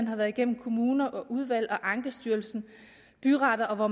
har været igennem kommuner udvalg ankestyrelse byretter og hvor